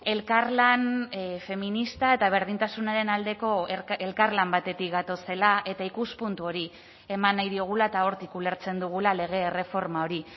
elkarlan feminista eta berdintasunaren aldeko elkarlan batetik gatozela eta ikuspuntu hori eman nahi diogula eta hortik ulertzen dugula lege erreforma hori